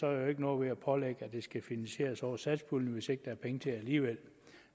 er jo ikke noget ved at pålægge at det skal finansieres over satspuljen hvis ikke der er penge til det alligevel